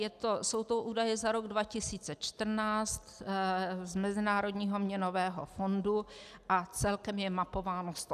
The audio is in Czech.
Jsou to údaje za rok 2014 z Mezinárodního měnového fondu a celkem je mapováno 187 zemí.